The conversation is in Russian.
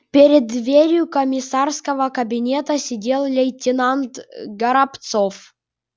перед дверью комиссарского кабинета сидел лейтенант горобцов